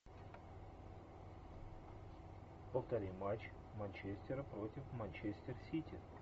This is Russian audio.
повтори матч манчестера против манчестер сити